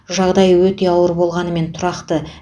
жағдайы өте ауыр болғанымен тұрақты